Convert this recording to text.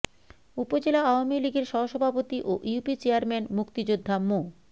উপজেলা আওয়ামীলীগের সহ সভাপতি ও ইউপি চেয়ারম্যান মুক্তিযোদ্ধা মো